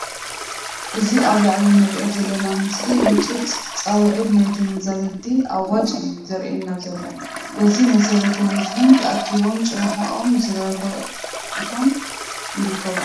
እዚ ኣብ ላዓሊ አንሪኦ ዘለና ምስሊ ህፁፅ ፃውዔት ናይ ተመዛበልቲ ኣዋጅ እዩ ዘርኤና ዘሎ። በዚ መሰረት ህዝብታት ታኣኪቦም ጭርሕኦም ዘርጊሖም ይርከቡ።